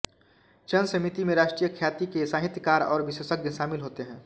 चयन समिति में राष्ट्रीय ख्याति के साहित्यकार और विशेषज्ञ शामिल होते हैं